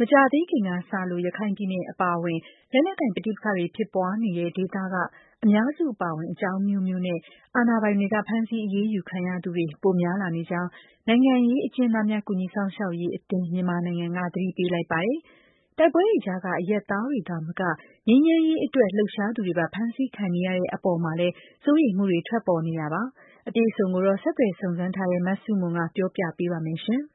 မကြာသေးခင်ကစလို့ ရခိုင်ပြည်နယ် အပါအဝင် လက်နက်ကိုင် ပဋိပက္ခတွေ ဖြစ်ပွားနေတဲ့ ဒေသတွေက အများစု အပါအဝင် အကြောင်းအမျိုးမျိုးနဲ့ အာဏာပိုင်တွေက ဖမ်းဆီးအရေးယူ ခံရသူတွေ ပိုများလာနေကြောင်း နိုင်ငံရေးအကျဉ်းသားများ ကူညီစောင့်ရှောက်ရေးအသင်း မြန်မာနိုင်ငံက သတိပေးလိုက်ပါတယ်။ တိုက်ပွဲတွေကြားက အရပ်သားတွေ သာမက ငြိမ်းချမ်းရေးအတွက် လှုပ်ရှားသူတွေပါ ဖမ်းဆီးခံနေရတဲ့ အပေါ်မှာလည်း စိုးရိမ်မှုတွေ ထွက်ပေါ်နေတာပါ အပြည့်အစုံကိုတော့ ဆက်သွယ်စုံစမ်းထားတဲ့ မဆုမွန်က ပြောပြပေးပါလိမ့်မယ်။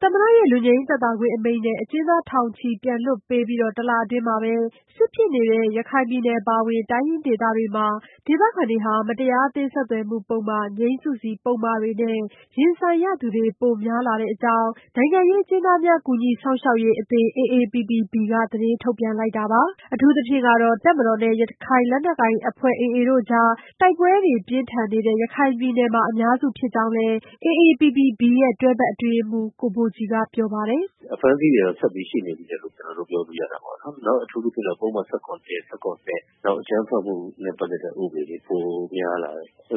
သမ္မတရဲ့ လွတ်ငြိမ်းသက်သာခွင့် အမိန့်နဲ့ အကျဉ်းသားထောင်ချီ ပြန်လွှတ်ပေးပြီး တလအတွင်းမှာပဲ စစ်ဖြစ်နေတဲ့ ရခိုင်ပြည်နယ် အပါအဝင် တိုင်းရင်းဒေသတွေမှာ ဒေသခံတွေ မတရားအသင်း ဆက်သွယ်မှုပုဒ်မ၊ ငြိမ်းစုစီပုဒ်မတွေနဲ့ ရင်ဆိုင်ရသူတွေ ပိုများလာတဲ့အကြောင်း နိုင်ငံရေးအကျဉ်းသားများ ကူညီစောင့်ရှောက်ရေးအသင်း AAPPB က သတင်းထုတ်ပြန် လိုက်တာပါ။ အထူးသဖြင့် တပ်မတော်နဲ့ ရခိုင်လက်နက်ကိုင်အဖွဲ့ AA တို့ကြား တိုက်ပွဲတွေ ပြင်းထန်နေတဲ့ ရခိုင်ပြည်နယ်မှာ အများစု ဖြစ်ကြောင်းလည်း AAPPB ရဲ့ တွဲဘက်အတွင်းရေးမှူး ကိုဘိုကြည်က ပြောပါတယ်။ "အဖမ်းဆီးတွေကတော့ ဆက်ပြီးရှိနေသေးတယ်လို့ ကျနော်တို့ ပြောလို့ရတယ်ပေါ့နော်။ အထူးသဖြင့်တော့ ပုဒ်မ ၁၇ ၊ ၁၇ နောက် အကြမ်းဖက်မှုနဲ့ ပတ်သတ်တဲ့ ဥပဒေတွေ ပိုများလာတယ်။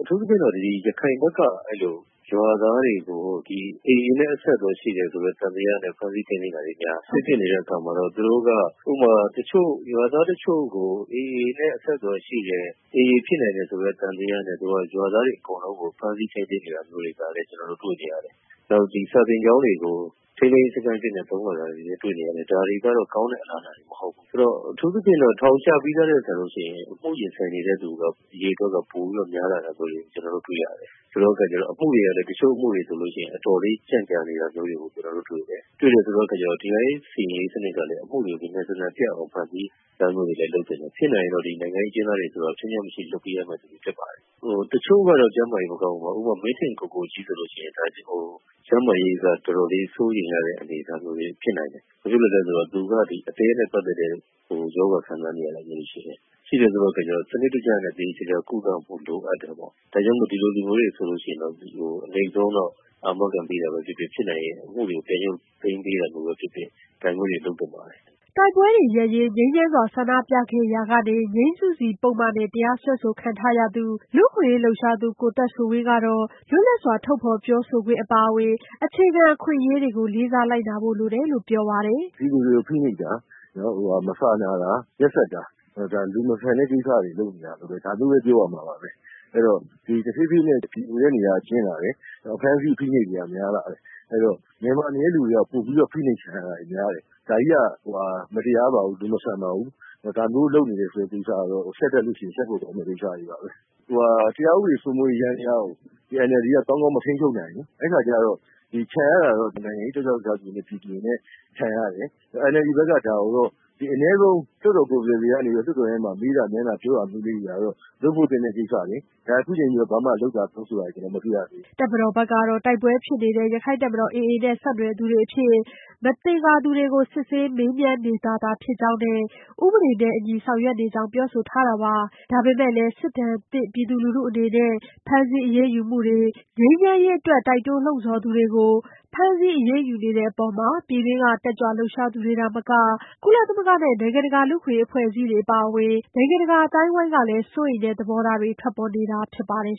အထူးသဖြင့်တော့ အဲလို ဒီရခိုင်ဘက်က အဲလို ရွာသားတွေကို ဒီ AA နဲ့ အဆက်အသွယ်ရှိတယ်ဆိုတဲ့ သံသယနဲ့ ဖမ်းဆီးထိန်းသိမ်းတာတွေ များတယ်။ စစ်ဖြစ်နေတဲ့ အခါမှာတော့ သူတို့က ဥပမာ တချို့ ရွာသားတချို့ကို AA နဲ့ အဆက်အသွယ်ရှိတယ်၊ AA ဖြစ်နိုင်တယ်ဆိုတဲ့ သံသယနဲ့ သူက ရွာသားတွေအကုန်လုံးကို ဖမ်းဆီး ထိန်းသိမ်းတာမျိုးတွေကလည်း ကျနော်တို့ တွေ့နေရတယ်။ နောက် ဒီစာသင်ကျောင်းတွေကို ထိန်းသိမ်းရေးစခန်းအဖြစ်နဲ့ သုံးလာတာတွေလည်း တွေ့နေရတယ်။ ဒါတွေကတော့ ကောင်းတဲ့အလားအလာတွေတော့ မဟုတ်ဘူး။ ဆိုတော့ အထူးသဖြင့်တော့ ထောင်ကျပြီးသားထက်စာလို့ရှိရင် အမှုရင်ဆိုင်နေရတဲ့သူ အရေအတွက်က ပိုပြီးတော့ များလာတာမျိုးတွေ ကျနော်တို့ တွေ့ရတယ်။ ဆိုတဲ့အခါကျတော့ အမှုတွေကလည်း အချို့အမှုတွေဆိုလို့ရှိရင် အတော်လေး ကြန့်ကြာတာမျိုးတွေကို ကျနော်တို့တွေ့တယ်။ တွေ့တယ်ဆိုတဲ့အခါကျတော့ တရားရေးစီရင်စနစ်ကလည်း အမှုတွေ မြန်မြန်ဆန်ဆန် ပြတ်အောင် ဖန်တီးတာမျိုးတွေ လုပ်သင့်တယ်။ ဖြစ်နိုင်မယ်ဆိုလို့ရှိရင်တော့ ဒီနိုင်ငံရေးအကျဉ်းသားတွေဆိုတာ ခြွင်းချက်မရှိ လွှတ်ပေးရမှာ ဖြစ်ပါတယ်။ တချို့ကတော့ ကျန်းမာရေးမကောင်းဘူး။ ဥပမာ မင်းထင်ကိုကိုကြီးဆိုလို့ရှိရင် ကျန်းမာရေးက တော်တော်လေး စိုးရိမ်ရတဲ့ အနေအထားမျိုး ဖြစ်နိုင်တယ်။ ဘာဖြစ်လို့လည်းဆိုတော့ သူက အသည်းနဲ့ ပတ်သတ်တဲ့ ရောဂါခံစားနေရတာမျိုးတွေ ရှိတယ်။ ရှိတယ်ဆိုတဲ့အခါကျတော့ စနစ်တကျနဲ့ သေသေချာချာ ကုသဖို့ လိုအပ်တယ်ပေါ့။ ဒါကြောင့်မို့ ဒီလိုလူမျိုးတွေ ဆိုလို့ရှိရင်တော့ အနှိမ့်ဆုံးတော့ အာမခံပေးတာပဲ ဖြစ်ဖြစ်၊ ဖြစ်နိုင်ရင် အမှုတွေကို ပြန်ရုပ်သိမ်းပေးတာမျိုးပဲ ဖြစ်ဖြစ် ဒါမျိုးတွေ လုပ်သင့်ပါတယ်။" တိုက်ပွဲတွေရပ်ရေး ငြိမ်းချမ်းစွာ ဆန္ဒပြခဲ့ရာက ငြိမ်းစုစီပုဒ်မနဲ့ တရားစွဲခံထားရတဲ့ လူ့အခွင့်အရေးလှုပ်ရှားသူ ကိုသက်ဆွေဝင်းကတော့ လွတ်လပ်စွာ ထုတ်ဖော်ပြောဆိုခွင့် အပါအဝင် အခြေခံ အခွင့်အရေးတွေကို လေးစားလိုက်နာဖို့ လိုတယ်လို့ ပြောပါတယ်။ "ပြည်သူတွေကို ဖိနှိပ်တာ၊ နောက် မစာနာတာ၊ ရက်စက်တာ၊ ဒါ လူမဆန်တဲ့ကိစ္စတွေ လုပ်နေတာ ဒါမျိုးပဲ ပြောရမှာပါပဲ။ အဲ့တော့ ဒီတဖြည်းဖြည်းနဲ့ ပြည်သူတွေရဲ့ နေရာက ကျဉ်းလာတယ်။ အဖမ်းအဆီး အဖိအနှိပ်တွေက များလာတယ်။ အဲ့တော့ နယ်မှာနေတဲ့လူတွေက ပိုပြီးတော့ ဖိနှိပ်ခံရတာတွေ များတယ်။ ဒါကြီးက မတရားပါဘူး၊ လူမဆန်ပါဘူး။ ဒါမျိုး လုပ်နေတဲ့ကိစ္စကတော့ ရှက်တတ်လို့ရှိရင် ရှက်ဖို့ကောင်းတဲ့ အယူအဆတွေပါပဲ။ တရားဥပဒေစိုးမိုးရေး ယန္တယားကို ဒီ NLD က ကောင်းကောင်း မထိန်းချုပ်နိုင်ရင် အဲ့ခါကျတော့ ဒီ ခံရတာတော့ နိုင်ငံရေး တက်ကြွလှုပ်ရှားသူတွေနဲ့ ပြည်သူတွေ ခံရတယ်။ NLD ဘက် က ဒါကိုတော့ အနည်းဆုံး လွှတ်တော် ကိုယ်စားလှယ်တွေကနေပြီးတော့ လွှတ်တော်ထဲမှာ မေးတာမြန်းတာ၊ ပြောတာမျိုးလေးတွေကတော့ လုပ်ဖို့သင့်တဲ့ ကိစ္စလေ။ ဒါခုချိန်ထိလည်း ဘာမှ လုပ်တာတောင်းဆိုတာတွေ ကျနော် မတွေ့ရသေးဘူး။" တပ်မတော်ကတော့ တိုက်ပွဲဖြစ်နေတဲ့ ရခိုင်တပ်မတော် AA နဲ့ ဆက်နွယ်သူတွေအဖြစ် မသင်္ကာသူတွေကို စစ်ဆေးမေးမြန်းနေတာသာ ဖြစ်ကြောင်းနဲ့ ဥပဒေနဲ့အညီ ဆောင်ရွက်နေကြောင်း ပြောဆိုထားတာပါ။ ဒါပေမဲ့လည်း စစ်ဒဏ်သင့်လူထု အနေနဲ့ ဖမ်းဆီးအရေးယူမှုတွေ ငြိမ်းချမ်းရေးအတွက် တိုက်တွန်းလှုံ့ဆော်သူတွေကို ဖမ်းဆီး အရေးယူနေတဲ့အပေါ် ပြည်တွင်းက တက်ကြွလှုပ်ရှားသူတွေ သာမက၊ ကုလသမဂ္ဂနဲ့ နိုင်ငံတကာ လူ့အခွင့်အရေး အဖွဲ့အစည်းတွေ အပါအဝင် နိုင်ငံတကာ အသိုင်းအဝန်းကလည်း စိုးရိမ်တဲ့ သဘောထားတွေ ထွက်ပေါ်နေတာ ဖြစ်ပါတယ်